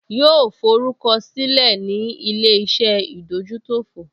Yóò forúkọ sílẹ̀ ní ilé-iṣẹ́ ìdójútòfò